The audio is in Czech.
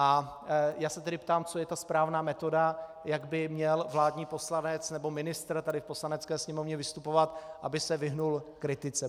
A já se tedy ptám, co je ta správná metoda, jak by měl vládní poslanec nebo ministr tady v Poslanecké sněmovně vystupovat, aby se vyhnul kritice.